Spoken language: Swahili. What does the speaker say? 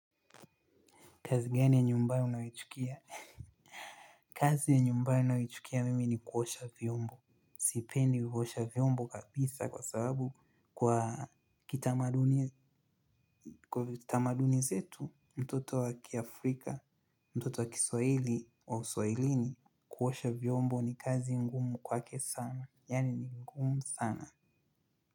Kazi gani ya nyumba unaichukia? Kazi ya nyumba ya unawichukia mimi ni kuosha vyombo. Sipendi kuosha vyombo kabisa kwa sababu kwa kitamaduni zetu, mtoto wa kiaAfrika, mtoto wa kiswahili, wa uswahilini, kuosha vyombo ni kazi ngumu kwake sana, yaani ni ngumu sana.